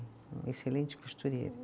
Uma excelente costureira.